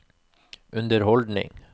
underholdning